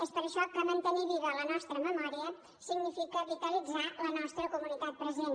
és per això que mantenir viva la nostra memòria significa vitalitzar la nostra comunitat present